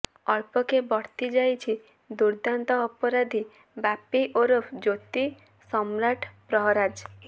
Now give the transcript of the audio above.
ଅଳ୍ପକେ ବର୍ତ୍ତି ଯାଇଛି ଦୁର୍ଦ୍ଦାନ୍ତ ଅପରାଧୀ ବାପି ଓରଫ ଜ୍ୟୋତିସମ୍ରାଟ ପ୍ରହରାଜ